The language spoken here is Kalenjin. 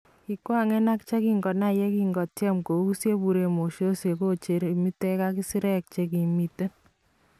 Kikwangen ak chekinai yekinkotyem kouuus yeburen mososheek kocheer imitek ak sireek chekimiten